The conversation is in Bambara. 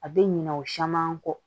A bɛ ɲina o caman kɔ